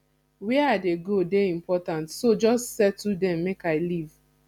where i dey go dey important so just settle dem make i leave